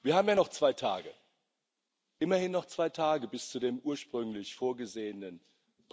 Aber lassen Sie mich einmal heute fragen, zwei Tage vor dem ursprünglich angedachten Austrittstermin.